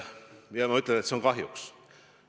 Ja ma ütlen, et kahjuks.